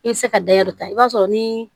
I bɛ se ka dayɛri ta i b'a sɔrɔ ni